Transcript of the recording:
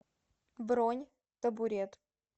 бронь табурет